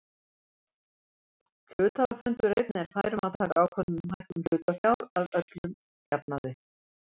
Hluthafafundur einn er fær um að taka ákvörðun um hækkun hlutafjár að öllum jafnaði.